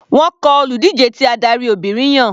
Wọ́n kọ olùdíje tí adarí Obìnrin yàn.